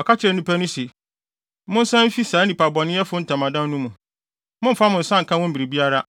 Ɔka kyerɛɛ nnipa no se, “Monsan mfi saa nnipabɔnefo yi ntamadan no mu! Mommfa mo nsa nka wɔn biribiara,